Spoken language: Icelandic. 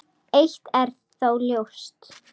Eitt er þó ljóst.